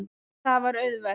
Það var auðvelt.